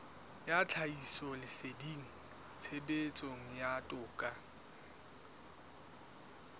ya tlhahisoleseding tshebetsong ya toka